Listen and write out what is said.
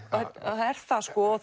það er það sko og